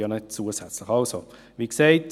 Diese kommen noch dazu.